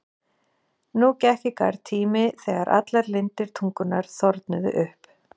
Nú gekk í garð tími þegar allar lindir tungunnar þornuðu upp.